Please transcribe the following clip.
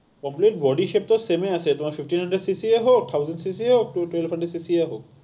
problem body shape ত same আছে, তোমাৰ fifteen hundred cc য়ে হওক, thousand য়ে হওক, twenty hundred য়ে হওক।